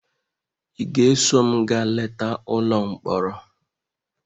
Ị ga-eso m gaa leta ụlọ mkpọrọ?